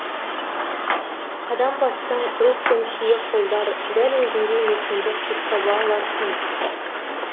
қадам бассаң рух пен кие қолдар дәл өзіңдей мекенді құт таба алар кім